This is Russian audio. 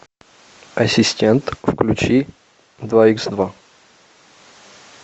ассистент включи два икс два